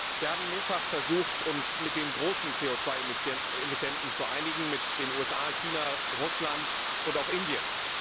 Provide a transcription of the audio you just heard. Wir haben mehrfach versucht, uns mit den großen CO 2 Emittenten zu einigen, mit den USA, China, Russland und auch Indien.